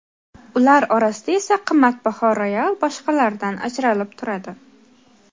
Ular orasida esa qimmatbaho royal boshqalaridan ajralib turadi.